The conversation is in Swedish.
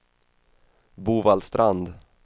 Bovallstrand